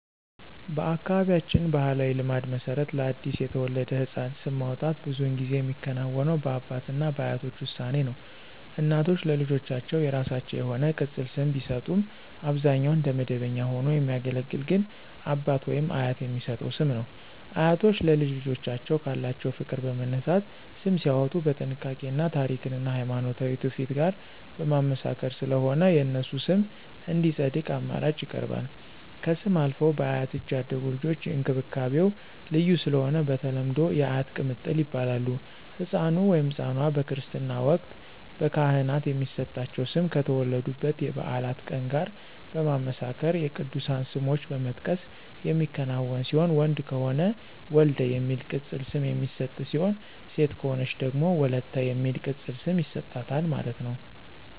በአካባቢያችን ባሕላዊ ልማድ መሰረት ለአዲስ የተወለደ ሕፃን ስም ማውጣት ብዙውን ጊዜ የሚከናወነው በአባት እና በአያቶች ውሳኔ ነው። እናቶች ለልጆቻቸው የራሳቸው የሆነ ቅፅል ስም ቢሰጡም አብዛኛውን እንደ መደበኛ ሆኖ የሚያገለግል ግን አባት/አያት የሚሰጠው ስም ነው። አያቶች ለልጅ ልጆቻቸው ካላቸው ፍቅር በመነሳት ስም ሲያዎጡ በጥንቃቄ እና ታሪክን እና ሀይማኖታዊ ትውፊት ጋር በማመሳከር ስለሆነ የነሱ ስም እንዲፀድቅ አማራጭ ይቀርባል። ከስም አልፈው በአያት እጅ ያደጉ ልጆች እንክብካቤው ልዩ ስለሆነ በተለምዶ *የአያት ቅምጥል ይባላሉ*።ህፃኑ/ኗ በክርስትና ወቅት በካህናት የሚሰጣቸው ስም ከተወለዱበት የበዓላት ቀን ጋር በማመሳከር የቅዱሳን ስሞችን በመጥቀስ የሚከናወን ሲሆን ወንድ ከሆነ *ወልደ* የሚል ቅፅል ስም የሚሰጥ ሲሆን ሴት ከሆነች ደግሞ *ወለተ*የሚል ቅፅል ስም ይሰጣታል ማለት ነው